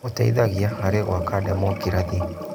Gĩteithagia harĩ gwaka ndemokirathĩ.